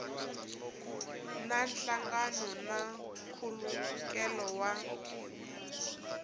na nhlangano na nkhulukelano wa